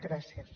gràcies